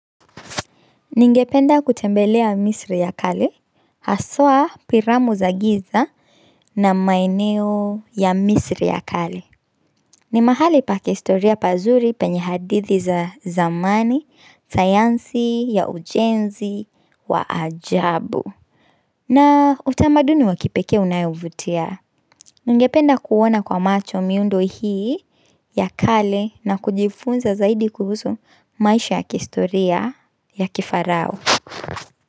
Ningependa kutembelea misri ya kale, hasaa piramu za giza na maeneo ya misri ya kale. Ni mahali pa kihistoria pazuri penye hadithi za zamani, sayansi ya ujenzi, wa ajabu. Na utamaduni wa kipekee unaovutia. Ningependa kuona kwa macho miundo hii ya kale na kujifunza zaidi kuhusu maisha ya kihistoria ya kifarao.